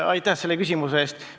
Aitäh selle küsimuse eest!